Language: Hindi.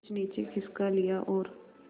कुछ नीचे खिसका लिया और